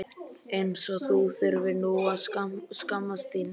eins og þú þurfir nú að skammast þín!